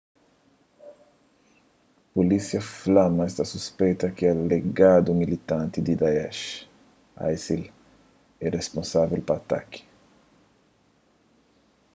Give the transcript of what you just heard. pulísia fla ma es ta suspeita ki un alegadu militanti di daesh isil é risponsável pa ataki